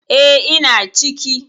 E, ina ciki.